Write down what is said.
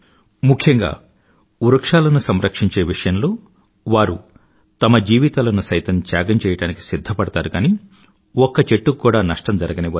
ముఖ్యంగా వృక్షాలను సంరక్షించే విషయంలో వారు తమ జీవితాలను సైతం త్యాగం చెయ్యడానికి సిధ్దపడతారు కానీ ఒక్క చెట్టుకి కూడా నష్టం జరగనివ్వరు